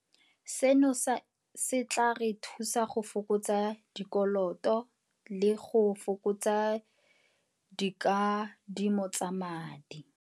Seno se tla re thusa go fokotsa dikoloto le go fokotsa dikadimo tsa madi.